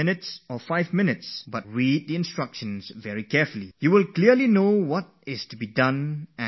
You must read those instructions very carefully, at most five minutes will be spent in that, but it will not cause any loss